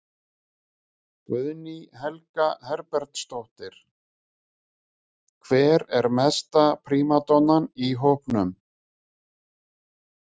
Guðný Helga Herbertsdóttir: Hver er mesta prímadonnan í hópnum?